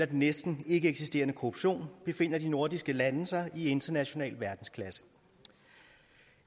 den næsten ikkeeksisterende korruption befinder de nordiske lande sig i international verdensklasse